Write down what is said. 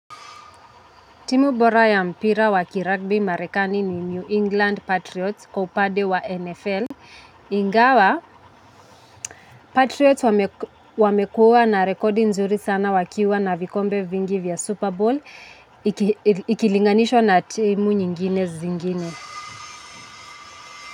Timu bora ya mpira wakiragbi marekani ni New England Patriots kwa upade wa NFL. Ingawa, Patriots wamekua na rekodi nzuri sana wakiwa na vikombe vingi vya Super Bowl. Ikilinganishwa na timu nyingine zingine.